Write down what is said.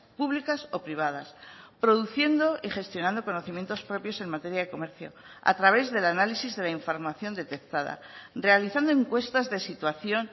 públicas o privadas produciendo y gestionando conocimientos propios en materia de comercio a través del análisis de la información detectada realizando encuestas de situación